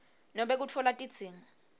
nobe kutfola tidzingo